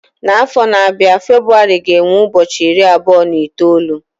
N'afọ na-abịa February ga-enwe ụbọchị iri abụọ na itoolu